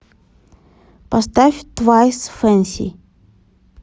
поставь твайс фэнси